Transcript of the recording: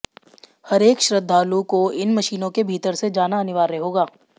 हरेक श्रद्धालु को इन मशीनों के भीतर से जाना अनिवार्य होगा